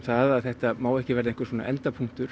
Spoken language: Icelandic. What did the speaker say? að þetta má ekki verða endapunktur